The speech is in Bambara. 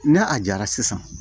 Ne a jara sisan